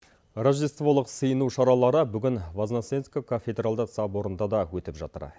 рождестволық сыйыну шаралары бүгін возноцевск кафедралдық соборында да өтіп жатыр